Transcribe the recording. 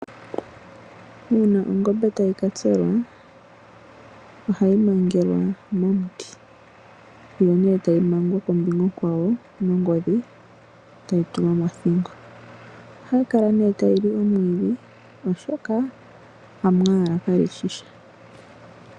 Uuna ongombe tayi katselwa , ohayi mangelwa momuti , yo tayi mangwa kombinga onkwawo nongodhi mothingo. Ohayi kala tayi ashike omwiidhi oshoka Amwaalwa kalishi sha.